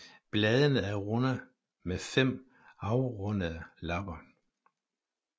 Bladene er runde med fem afrundede lapper